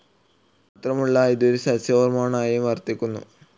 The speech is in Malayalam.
മാത്രമുള്ള ഇത് ഒരു സസ്യ ഹോർമോണായും വർത്തിക്കുന്നു.